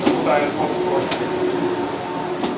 кук будто аирподс про себе купил если честно